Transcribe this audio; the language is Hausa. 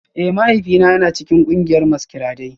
Eh, mahaifina yana cikin kungiyar maskirade